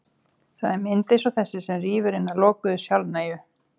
Það er mynd eins og þessi sem rýfur hina lokuðu, sjálfnægu